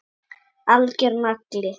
Algjör nagli.